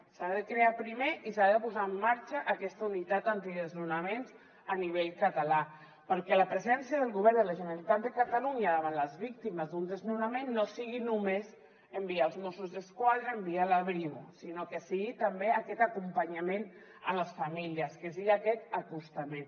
s’ha de crear primer i s’ha de posar en marxa aquesta unitat antidesnonaments a nivell català perquè la presència del govern de la generalitat de catalunya davant les víctimes d’un desnonament no sigui només enviar els mossos d’esquadra enviar la brimo sinó que sigui també aquest acompanyament a les famílies que sigui aquest acostament